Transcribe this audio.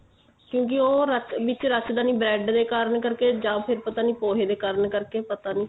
ਕਿਉਂਕਿ ਉਹ ਰੱਖ ਵਿੱਚ ਰੱਖਦਾ ਨੀ bread ਦੇ ਕਾਰਨ ਕਰਕੇ ਜਾ ਫੇਰ ਪੋਹੇ ਦੇ ਕਾਰਨ ਕਰਕੇ ਪਤਾ ਨੀਂ